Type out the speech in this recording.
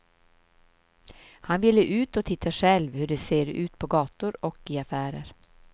Han ville ut och titta själv hur det ser ut på gator och i affärer.